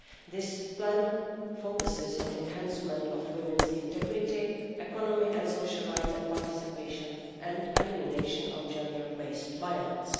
Plan. This plan focuses on the enhancement of women's integrity, economic and social rights and on participation and the elimination of gender-based violence.